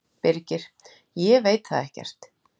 Birgir: Ég veit það ekkert.